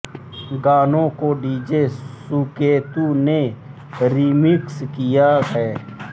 गानों को डीजे सुकेतु ने रिमिक्स किया है